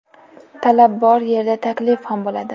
Talab bor yerda – taklif ham bo‘ladi!